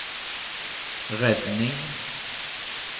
redning